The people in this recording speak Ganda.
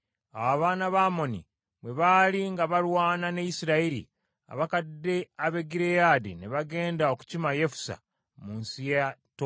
Awo abaana ba Amoni bwe baali nga balwana ne Isirayiri, abakadde ab’e Gireyaadi ne bagenda okukima Yefusa mu nsi ya Tobu.